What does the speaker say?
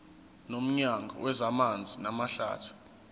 nomnyango wezamanzi namahlathi